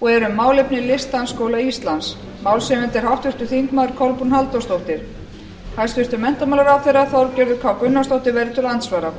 og er um málefni listdansskóla íslands málshefjandi er háttvirtir þingmenn kolbrún halldórsdóttir hæstvirtur menntamálaráðherra þorgerður k gunnarsdóttir verður til andsvara